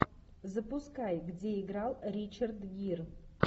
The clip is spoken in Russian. запускай где играл ричард гир